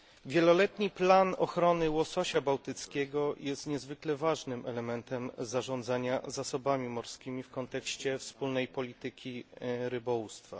Wieloletni plan ochrony łososia bałtyckiego jest niezwykle ważnym elementem zarządzania zasobami morskimi w kontekście wspólnej polityki rybołówstwa.